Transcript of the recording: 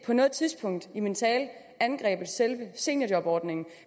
på noget tidspunkt i min tale angrebet selve seniorjobordningen